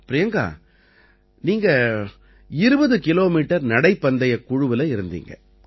பிரியங்கா நீங்க 20 கிலோமீட்டர் நடைப்பந்தயக் குழுவில இருந்தீங்க